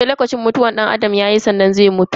Sai lokacin mutuwan danAdam yayi sannan zai mutu.